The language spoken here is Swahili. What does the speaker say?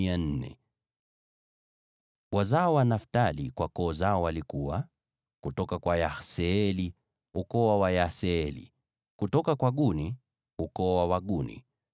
Wazao wa Naftali kwa koo zao walikuwa: kutoka kwa Yaseeli, ukoo wa Wayaseeli; kutoka kwa Guni, ukoo wa Waguni;